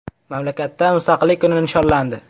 Mamlakatda mustaqillik kuni nishonlandi.